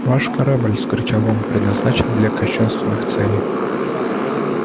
ваш корабль вскричал он предназначен для кощунственных целей